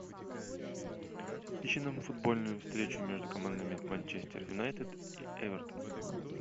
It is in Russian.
ищи нам футбольную встречу между командами манчестер юнайтед и эвертон